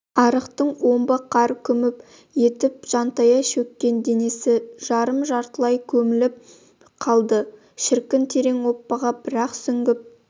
арықтың омбы қар күміп етіп жантая шөккен денесі жарым-жартылай көміліп қалды шіркін терең оппаға бір-ақ сүңгіп